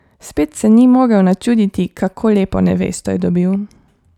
Spet se ni mogel načuditi, kako lepo nevesto je dobil.